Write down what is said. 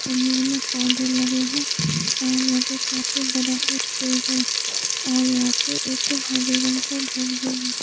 कमरे में पौधे लगे हैं और यहां पे काफी बड़ा से एक पेड़ है और यहां पे एक हरे रंग का घर भी है।